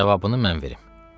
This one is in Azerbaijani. Cavabını mən verim.